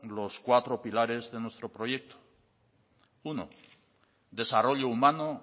los cuatro pilares de nuestro proyecto uno desarrollo humano